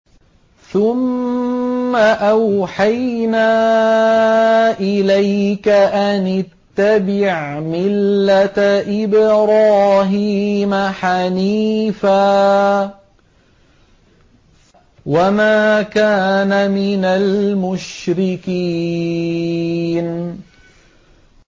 ثُمَّ أَوْحَيْنَا إِلَيْكَ أَنِ اتَّبِعْ مِلَّةَ إِبْرَاهِيمَ حَنِيفًا ۖ وَمَا كَانَ مِنَ الْمُشْرِكِينَ